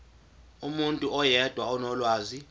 umuntu oyedwa onolwazi